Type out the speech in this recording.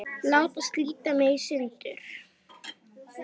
Láta slíta mig í sundur.